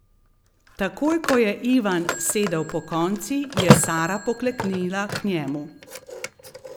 Takoj ko je Ivan sedel pokonci, je Sara pokleknila k njemu.